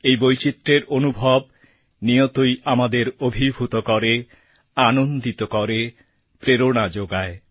এই বৈচিত্র্যের অনুভব নিয়তই আমাদের অভিভূত করে আনন্দিত করে প্রেরণা যোগায়